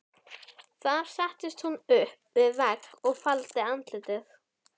Þar settist hún upp við vegg og faldi andlitið.